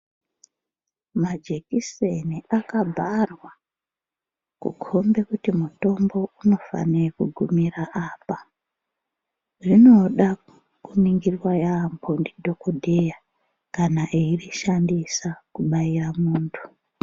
Majekiseni akabharwa kukombe kuti mutombo unofane kugumira apa, zvinoda kuningirwa yambo nditokodheya kana eyizvishandisa kubaira muntu.